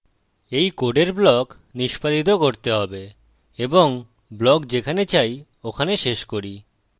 এই code block নিষ্পাদিত করতে হবে এবং block যেখানে চাই ওখানে শেষ করি